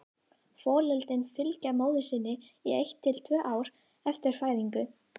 Folöldin fylgja móður sinni í eitt til tvö ár eftir fæðingu.